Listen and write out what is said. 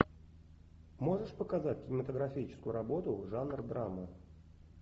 можешь показать кинематографическую работу жанр драма